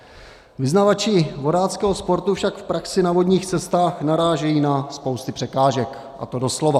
Vyznavači vodáckého sportu však v praxi na vodních cestách narážejí na spousty překážek, a to doslova.